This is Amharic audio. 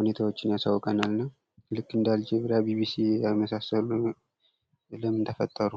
ሁኔታዎችን ያሳውቀናል። እና እንደ አልጀዚራ ቢቢሲ የመሰሉ ምን ተፈጠሩ?